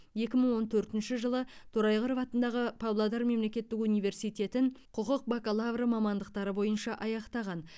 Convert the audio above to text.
екі мың он төртінші жылы торайғыров атындағы павлодар мемлекеттік университетін құқық бакалавры мамандықтары бойынша аяқтаған